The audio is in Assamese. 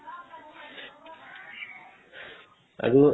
আৰু